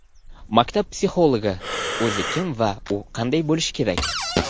Maktab psixologi o‘zi kim va u qanday bo‘lishi kerak?!.